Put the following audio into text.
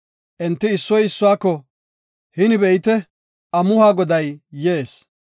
Enti issoy issuwako, “Hini be7ite, amuhuwa goday yees.